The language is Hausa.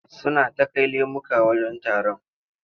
Suna ta kai lemuka wajen taron.